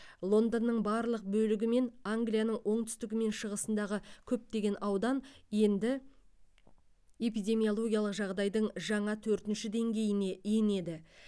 лондонның барлық бөлігі мен англияның оңтүстігі мен шығысындағы көптеген аудан енді эпидемиологиялық жағдайдың жаңа төртінші деңгейіне енеді